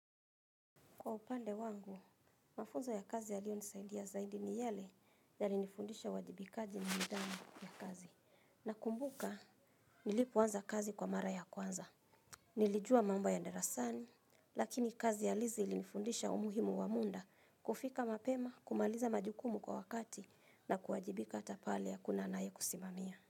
Kwa upande wangu, mafunzo ya kazi yalio nisaidia zaidi ni yale ya linifundisha uwajibikaji na nidhamu ya kazi. Na kumbuka, nilipoanza kazi kwa mara ya kwanza. Nilijua mambo ya darasani, lakini kazi ya lizi ilinifundisha umuhimu wa muda kufika mapema, kumaliza majukumu kwa wakati na kuwajibika hata pale hakuna anaye kusimamia.